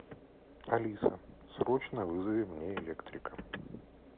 алиса срочно вызови мне электрика